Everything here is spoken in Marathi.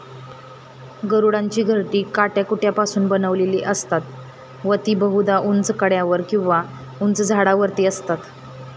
गरुडांची घरटी काट्याकुट्यांपासून बनलेली असतात व ती बहुधा ऊंच कड्यांवर किंवा उंच झाडांवरती असतात.